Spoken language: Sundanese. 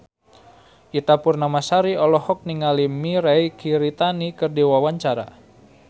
Ita Purnamasari olohok ningali Mirei Kiritani keur diwawancara